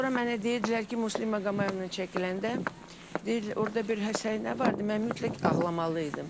Sonra mənə deyirdilər ki, Muslim Maqomayevlə çəkiləndə, deyir, orda bir həsəy nə vardı, mən mütləq ağlamalı idim.